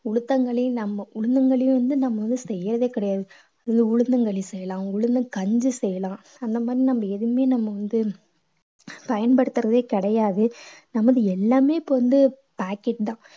உளுந்தங்களி நம்ம உளுந்தங்களி வந்து நம்ம வந்து செய்யறதே கிடையாது உளுந்தங்களி செய்யலாம் உளுந்தங்கஞ்சி செய்யலாம் அந்த மாதிரி நம்ம எதுவுமே நம்ம வந்து பயன்படுத்துறதே கிடையாது நம்ம வந்து எல்லாமே இப்ப வந்து packet தான்